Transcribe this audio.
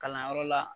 Kalanyɔrɔ la